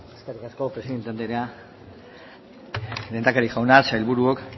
eskerrik asko presidente anderea lehendakari jauna sailburuok